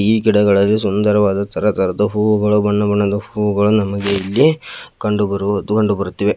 ಈ ಗಿಡಗಳಲ್ಲಿ ಸುಂದರವಾದ ತರ ತರಹದ ಹೂವುಗಳು ಬಣ್ಣಬಣ್ಣದ ಹೂವುಗಳು ನಮಗೆ ಇಲ್ಲಿ ಕಂಡುಬರು ಕಂಡುಬರುತ್ತಿದೆ.